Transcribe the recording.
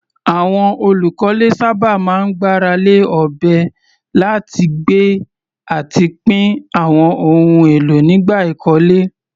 Àwọn olùkọ́lé sábà máa ń gbára lé ọ̀bẹ láti gbé àti pín àwọn ohun èlò nígbà ìkọ́lé.